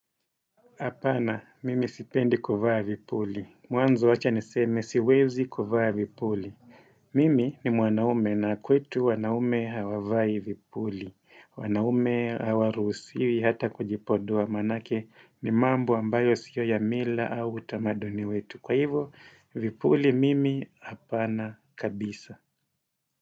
Apana, mimi sipendi kuvaa vipuli. Mwanzo wacha niseme siwezi kuvaa vipuli. Mimi ni mwanaume na kwetu wanaume hawavai vipuli. Wanaume hawaruhusiwi hata kujipodua manake ni mambo ambayo siyo ya mila au utamaduni wetu. Kwa hivo, vipuli mimi hapana kabisa.